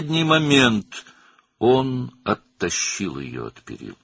Son anda o, onu məhəccərdən uzaqlaşdırdı.